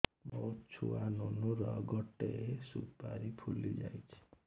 ମୋ ଛୁଆ ନୁନୁ ର ଗଟେ ସୁପାରୀ ଫୁଲି ଯାଇଛି